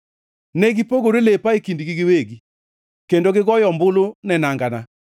Ne gipogore lepa e kindgi giwegi kendo gigoyo ombulu ne nangana.